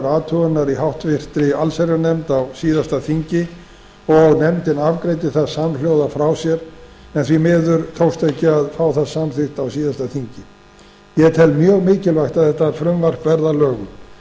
athugunar í háttvirta allsherjarnefnd á síðasta þingi og nefndin afgreiddi það samhljóða frá sér en því miður tókst ekki að fá það samþykkt á síðasta þingi ég tel mjög mikilvægt að þetta frumvarp verði að lögum